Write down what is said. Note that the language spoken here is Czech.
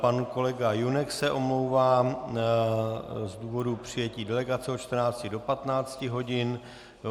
Pan kolega Junek se omlouvá z důvodu přijetí delegace od 14 do 15 hodin.